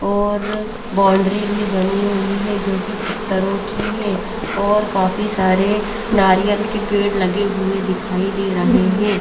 और बॉन्डरी बनी हुई है जो की पत्थरो की है और काफी सारे नारियल के पेड़ लगे हुए दिखाई दे रहे है।